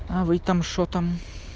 а вы там что там